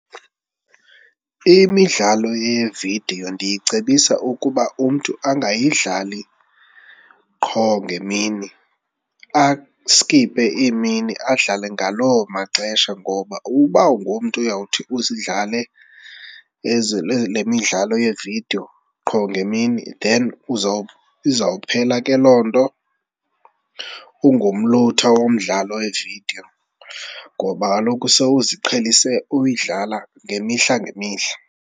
Imidlalo yeevidiyo ndiyicebisa ukuba umntu angayidlali qho ngemini, askiphe iimini. Adlale ngaloo maxesha ngoba uba ungumntu uyawuthi uzidlale le midlalo yevidiyo qho ngemini then izawuphela ke loo nto ungumlutha womdlalo wevidiyo ngoba kaloku sowuziqhelise uyidlala ngemihla ngemihla.